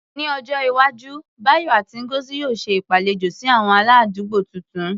Ní ọjọ́ iwájú, Bayo àti Ngozi yóò ṣe ìgbàlejò sí àwọn aládùúgbò tuntun.